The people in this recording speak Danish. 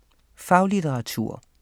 Faglitteratur